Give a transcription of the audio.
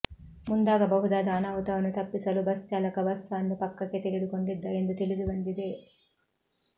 ಮುಂದಾಗಬಹುದಾದ ಅನಾಹುತವನ್ನು ತಪ್ಪಿಸಲು ಬಸ್ ಚಾಲಕ ಬಸ್ ಅನ್ನು ಪಕ್ಕಕ್ಕೆ ತೆಗೆದುಕೊಂಡಿದ್ದ ಎಂದು ತಿಳಿದು ಬಂದಿದೆ